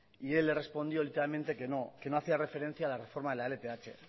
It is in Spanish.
y él le respondió literalmente que no que no hacía referencia a la reforma de la lth